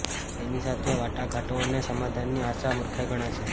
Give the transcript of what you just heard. તેની સાથે વાટાઘાટો અને સમાધાનની આશા મુર્ખાઈ ગણાશે